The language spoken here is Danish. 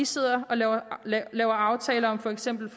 sidder og laver laver aftaler om for eksempel